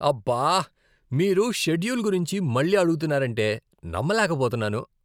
అబ్బా, మీరు షెడ్యూల్ గురించి మళ్ళీ అడుగుతున్నారంటే నమ్మలేకపోతున్నాను!